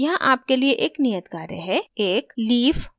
यहाँ आपके लिए एक नियत कार्य है एक leaf pattern बनाएं